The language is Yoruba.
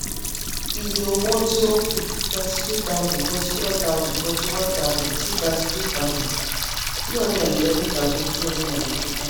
iye owó tí ó kù thirty-two thousand, forty-one thousand, forty-one thousand, sí thirty-two thousand, three hundred and eleven thousand, two hundred and ninety-five